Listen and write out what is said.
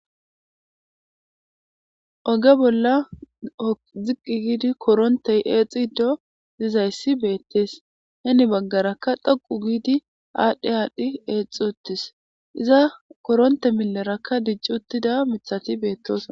Oge bolla ziqqi giidi korontey eexxi iddo dizayssi beettees heni baggarakka dhoqu giidi aadhdhi aadhdhi eexxi uttis iza koronte milerakka dijci uttida mithati beettoos.